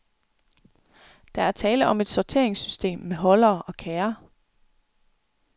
Der er tale om et sorteringssystem med holdere og kærre.